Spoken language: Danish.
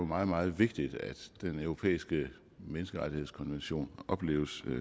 meget meget vigtigt at den europæiske menneskerettighedskonvention opleves